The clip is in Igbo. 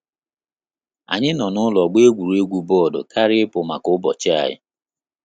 Anyị nọ n'ụlọ gba egwuregwu bọọdụ karịa ipu maka ụbọchị anyi